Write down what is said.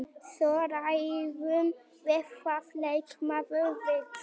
Svo ræðum við hvað leikmaðurinn vill.